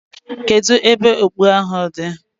Kedu ebe okpu ahu di?